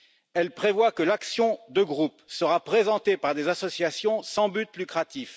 Elle prévoit que l'action de groupe sera présentée par des associations sans but lucratif.